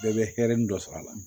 Bɛɛ bɛ hɛri ni dɔ sɔrɔ a la